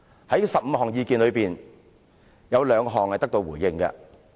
在15項意見中，有兩項得到回應。